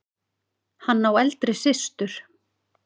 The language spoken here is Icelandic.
Hann á eldri systur.